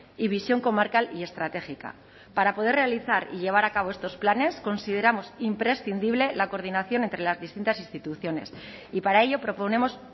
y visión comarcal y estratégica para poder realizar y llevar a cabo estos planes consideramos imprescindible la coordinación entre las distintas instituciones y para ello proponemos